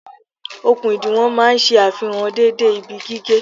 Okùn ìdiwọ̀n máa ń ṣe àfihàn dédé ibi gígé